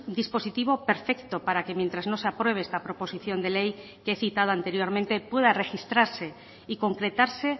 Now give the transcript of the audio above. dispositivo perfecto para que mientras no se apruebe esta proposición de ley que he citado anteriormente pueda registrarse y concretarse